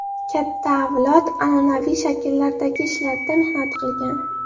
Katta avlod an’anaviy shakllardagi ishlarda mehnat qilgan.